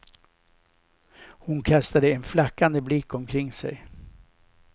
Hon kastade en flackande blick omkring sig.